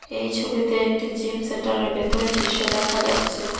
এই ছবিতে একটি জিম সেন্টার -এর ভেতরের দৃশ্য দেখা যাচ্ছে।